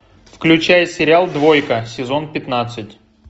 включай сериал двойка сезон пятнадцать